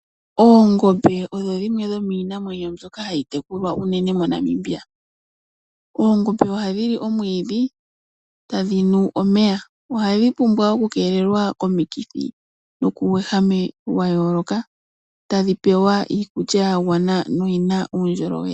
Oongombe odho dhimwe dhomiinamwenyo mbyoka hayi tekulwa unene moNamibia. Oongombe ohadhi li omwiidhi tadhi nu omeya, ohadhi pumbwa okukeelelwa komikithi nokuuwehame wayooloka tadhi pewa iikulya ya gwana noyi na uundjolowele.